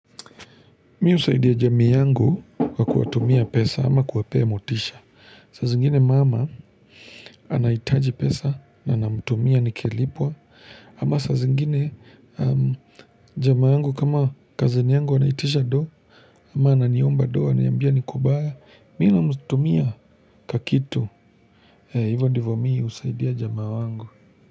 Mi husaidia jamii yangu kwa kuwatumia pesa ama kuwapea motisha. Saa zingine mama anaitaji pesa na namutumia ni kilipwa. Ama saazingine jamaa yangu kama cousin yangu anaitisha doh. Ama ananiomba doo. Ananiambia ni kubaya. Mi namutumia kakitu. Hivo ndivomi husaidia jamaa wangu.